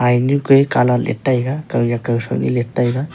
hynyu ke colour liet taiga kawnyak kawthro nyi liet taiga.